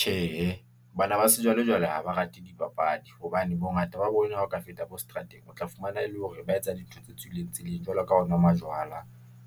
Tjhe, bana ba sejwalejwale ha ba rate dipapadi, hobane bongata ba bona ha o ka feta bo seterateng, o tla fumana e le hore ba etsa dintho tse tswileng tseleng jwalo ka ho nwa majwala